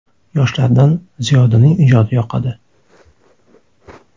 Yoshlardan Ziyodaning ijodi yoqadi.